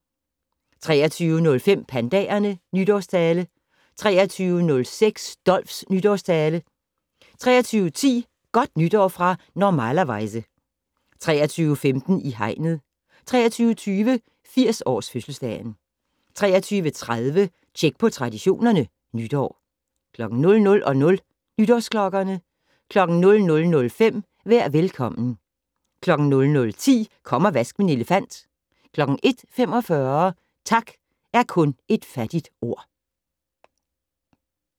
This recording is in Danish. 23:05: Pandaerne- nytårstale 23:06: Dolphs nytårstale 23:10: Godt nytår fra "Normalerweize" 23:15: I hegnet 23:20: 80-års-fødselsdagen 23:30: Tjek på Traditionerne: Nytår 00:00: Nytårsklokkerne 00:05: Vær velkommen 00:10: Kom og vask min elefant 01:45: Tak er kun et fattigt ord